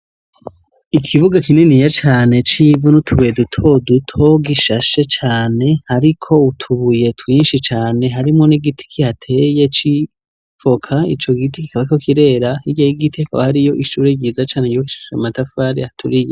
Ikibuga kinini ye cane c'ivunutubuye dutodutogishashe cane, ariko utubuye twinshi cane harimwo n'igiti kihateye c'ivoka ico giti kikaba co kirera igiha gigitiaka wa hari yo ishuri ryiza cane y'uko ishasha matafari haturiye.